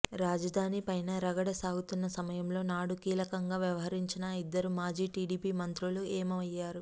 రాజధాని పైన రగడ సాగుతున్న సమయంలో నాడు కీలకంగా వ్యవహరించిన ఆ ఇద్దరు మాజీ టీడీపీ మంత్రులు ఏమయ్యారు